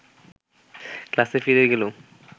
ক্লাসে ফিরে গেলুম